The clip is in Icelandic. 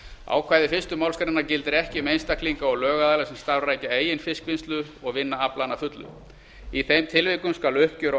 ákvæði fyrstu málsgrein gildir ekki um einstaklinga og lögaðila sem starfrækja eigin fiskvinnslu og vinna aflann að fullu í þeim tilvikum skal uppgjör á